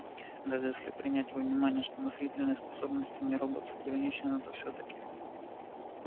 даже если принять во внимание что мыслительные способности нероботов ограничены то всё-таки